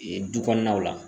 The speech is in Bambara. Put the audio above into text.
du kɔnɔnaw la.